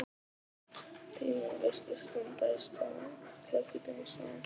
Tíminn virtist standa í stað klukkutímum saman.